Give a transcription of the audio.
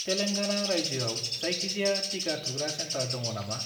तेलेंगाना रायजोआव जायखिजाया टिका थुग्रा सेन्टार दङ नामा?